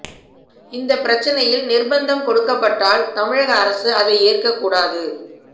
இந்த பிரச்சனையில் நிர்பந்தம் கொடுக்கப்பட்டால் தமிழக அரசு அதை ஏற்க கூடாது